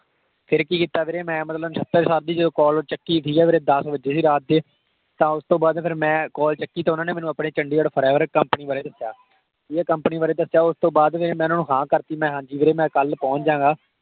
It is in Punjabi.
ਫਿਰ ਕਿ ਕੀਤਾ ਵੀਰੇ ਮੈਂ ਮਤਲਬ ਨਸ਼ਤਰ sir ਦੀ call ਚੱਕੀ ਵੀਰੇ, ਠੀਕ ਆ ਵੀਰੇ। ਦੱਸ ਵੱਜੇ ਸੀ ਰਾਤ ਦੇ। ਤਾਂ ਓਸ ਤੋਂ ਬਾਅਦ ਫਿਰ ਮੈਂ call ਚੱਕੀ ਤੇ ਉਹਨਾਂ ਨੇ ਮੈਨੂੰ ਆਪਣੇ ਚੰਡੀਗੜ੍ਹ forever company ਬਾਰੇ ਦੱਸਿਆ। ਠੀਕ ਹੈ, company ਬਾਰੇ ਦੱਸਿਆ। ਉਸਤੋਂ ਬਾਅਦ ਫਿਰ ਮੈਂ ਓਹਨਾ ਨੂੰ ਹਾਂ ਕਰਤੀ, ਮੈਂ ਕਿਹਾ ਹਾਂਜੀ ਵੀਰੇ ਮੈਂ ਕੱਲ ਪੌਂਚ ਜਾਗਾ।